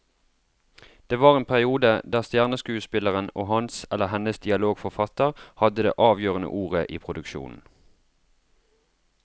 Det var en periode der stjerneskuespilleren og hans eller hennes dialogforfatter hadde det avgjørende ordet i produksjonen.